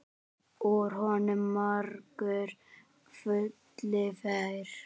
Úr honum margur fylli fær.